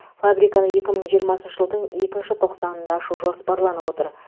фабриканы екі мың жиырмасыншы жылдың екінші тоқсанында ашу жоспарланып отыр